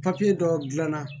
dɔ dilanna